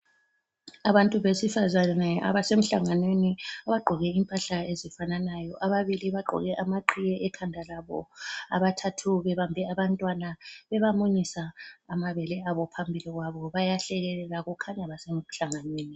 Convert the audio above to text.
Abantu besifazana abasemhlanganweni bagqoke impahla ezifananayo. Ababili bagqoke amaqhiye ekhanda labo. Abathathu bebambe abantwana bebamunyisa amabele abo phambili kwabo, bayahlekelela kukhanya basemhlanganweni.